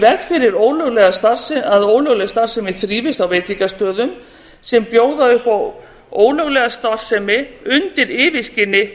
koma í veg yfir að ólögleg starfsemi þrífist á veitingastöðum sem bjóða upp á ólöglega starfsemi undir yfirskyni